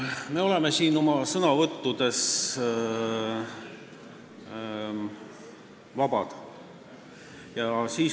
Me oleme oma sõnavõttudes vabad.